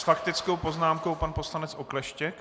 S faktickou poznámkou pan poslanec Okleštěk.